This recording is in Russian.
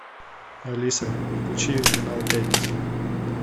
алиса включи канал пятница